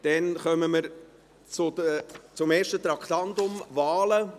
Damit kommen wir zum ersten Traktandum: Wahlen.